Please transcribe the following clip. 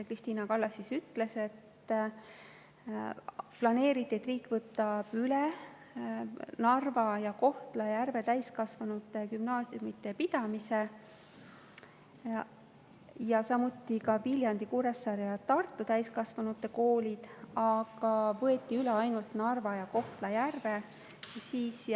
Krist`ina Kallas ütles, et planeeriti, et riik võtab üle Narva ja Kohtla-Järve täiskasvanute gümnaasiumide pidamise, samuti ka Viljandi, Kuressaare ja Tartu täiskasvanute koolid, aga võeti üle ainult Narva ja Kohtla-Järve koolid.